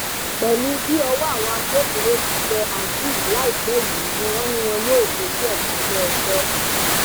pẹlú bí ọwọ àwọn agbófinró ti tẹ azeez láìpẹ yìí ni wọn ní wọn yóò fojú ẹ balẹẹjọ